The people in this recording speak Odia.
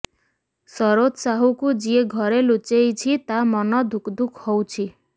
ସରୋଜ ସାହୁକୁ ଯିଏ ଘରେ ଲୁଚେଇକି ତା ମନ ଧୁକଧୁକ ହଉଛି